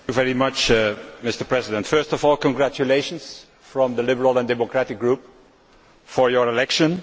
Mr President, first of all congratulations from the Liberal and Democratic Group on your election.